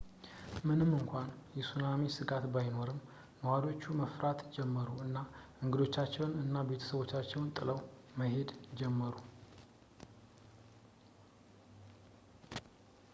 ምንም እንኳን የሱናሚ ስጋት ባይኖርም ነዋሪዎቹ መፍራት ጀመሩ እና ንግዶቻቸውን እና ቤቶቻቸውን ጥለው መሄድ ጀመሩ